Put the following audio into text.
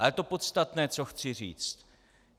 Ale to podstatné, co chci říct.